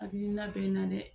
Hakilina bɛ n na dɛ